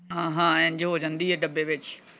ਹਾਂ ਹਾਂ ਇੰਝ ਹੋ ਜਾਂਦੀ ਹੈ ਡੱਬੇ ਵਿਚ।